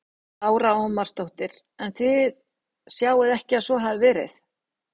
Lára Ómarsdóttir: En þið sjáið ekki að svo hafi verið?